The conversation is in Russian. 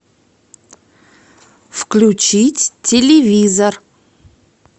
включить телевизор